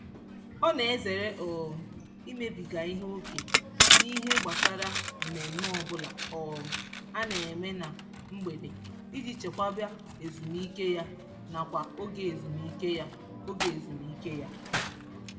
Ọ na-ezere um imebiga ihe oke n'ihe gbasara mmemme ọbụla um a na-eme na mgbede iji chekwaba ezumike ya nakwa oge ezumike ya. oge ezumike ya.